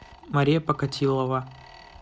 мария покатилова